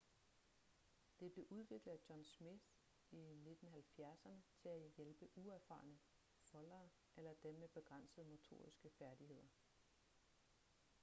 det blev udviklet af john smith i 1970'erne til at hjælpe uerfarne foldere eller dem med begrænsede motoriske færdigheder